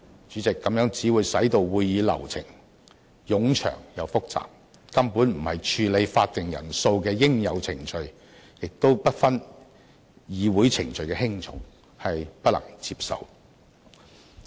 主席，這樣只會使會議流程冗長又複雜，根本不是處理會議法定人數的應有程序，亦不分議會程序的輕重，我並不能接受。